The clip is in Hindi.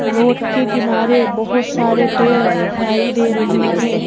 रोड के किनारे बहुत सारे पेड़ दिखाई दे रहे हैं।